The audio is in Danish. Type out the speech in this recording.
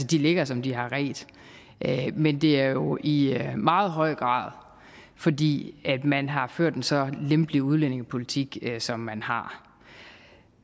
de ligger som de har redt men det er jo i meget høj grad fordi man har ført en så lempelig udlændingepolitik som man har